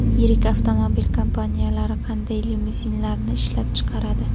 Yirik avtomobil kompaniyalari qanday limuzinlarni ishlab chiqaradi?